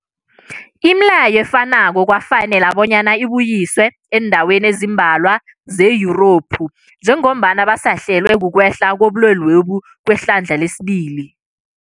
Imileyo efanako kwafanela bonyana ibuyiswe eendaweni ezimbalwa ze-Yurophu njengombana basahlelwa, kukwehla kobulwele kwehlandla lesibili.